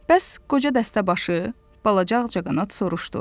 Bəs qoca dəstəbaşı balaca ağcaqanad soruşdu.